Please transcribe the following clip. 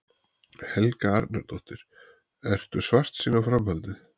Helga Arnardóttir: Ertu svartsýn á framhaldið?